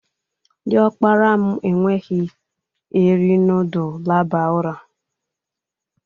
Diokpara m ekweghi eri nudul laba ura.